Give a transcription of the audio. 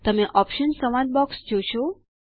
તમે ઓપ્શન્સ સંવાદ બોક્સ જોશો